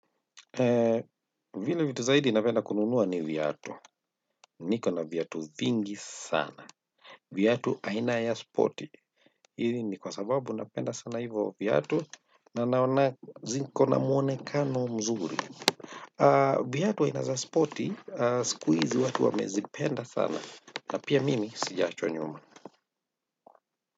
Vile vitu zaidi napenda kununua ni viatu. Niko na viatu vingi sana. Viatu aina ya spoti. Hili ni kwa sababu napenda sana hivyo viatu. Na naona ziko na mwonekano mzuri. Viatu aina za spoti. Siku hizi watu wamezipenda sana. Na pia mimi sijaachwa nyuma.